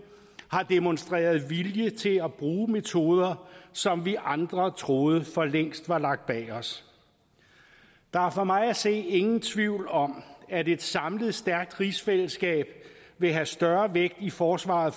har demonstreret vilje til at bruge metoder som vi andre troede for længst var lagt bag os der er for mig at se ingen tvivl om at et samlet stærkt rigsfællesskab vil have større vægt i forsvaret